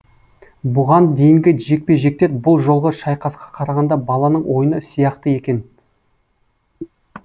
бұған дейінгі жекпе жектер бұл жолғы шайқасқа қарағанда баланың ойыны сияқты екен